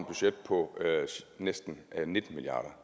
budget på næsten nitten milliard